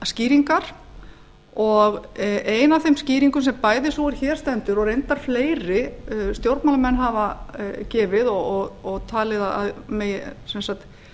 skýringar og ein af þeim skýringum sem bæði sú er hér stendur og reyndar fleiri stjórnmálamenn hafa gefið og talið að megi sem sagt